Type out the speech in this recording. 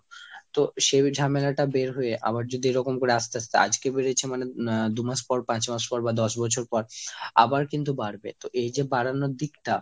তো সেই ঝামেলাটা বের হয়ে আবার যদি এরকম করে আস্তে আস্তে আজকে বেড়েছে মানে আহ দুমাস পর, পাঁচ মাস পর বা দশ বছর পর আবার কিন্তু বাড়বে। তো এই বাড়ানোর দিকটা